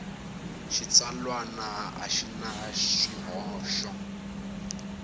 xitsalwana a xi na swihoxo